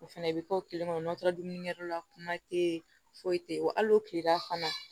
O fɛnɛ bɛ kɛ o kelen kɔnɔ n'o taara dumuni kɛ yɔrɔ la kuma tɛ ye foyi tɛ yen wa hali o kilela fana